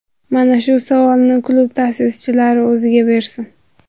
Mana shu savolni klub ta’sischilari o‘ziga bersin.